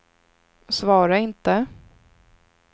svara inte